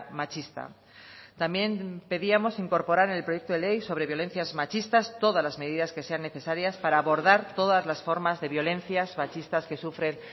machista también pedíamos incorporar en el proyecto de ley sobre violencias machistas todas las medidas que sean necesarias para abordar todas las formas de violencias machistas que sufren